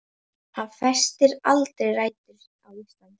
Hann festir aldrei rætur á Íslandi.